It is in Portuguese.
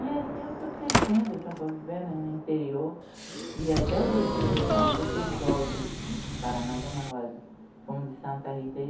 E assim eu fui crescendo, assim, eu fui vivendo no interior e até hoje, tanto o pessoal de Paraná, Dona Rosa, como de Santa Rita,